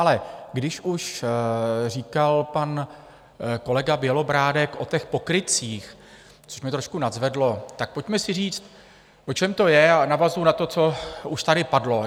Ale když už říkal pan kolega Bělobrádek o těch pokrytcích, což mě trošku nadzvedlo, tak pojďme si říct, o čem to je, a navazuji na to, co už tady padlo.